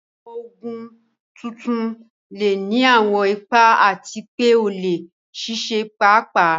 Àwọn Ògùn tuntun lè ní àwọn ipa àti pé ó lè ṣiṣẹ́ pàápàá